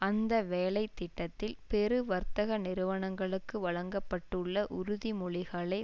அந்த வேலை திட்டத்தில் பெரு வர்த்தக நிறுவனங்களுக்கு வழங்க பட்டுள்ள உறுதிமொழிகளை